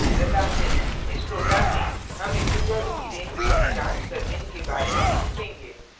एक नजर डालते हैं इस program में हम integers की range की जांच करने के बारे में सीखेंगे